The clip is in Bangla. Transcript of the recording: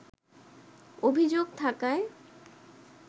অভিযোগ থাকায়